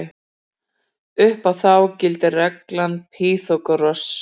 Um þá gildir regla Pýþagórasar.